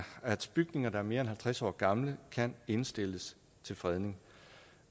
bygninger der er mere end halvtreds år gamle kan indstilles til fredning